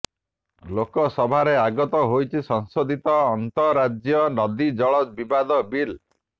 ଲୋକସଭାରେ ଆଗତ ହୋଇଛି ସଂଶୋଧିତ ଆନ୍ତଃରାଜ୍ୟ ନଦୀ ଜଳ ବିବାଦ ବିଲ୍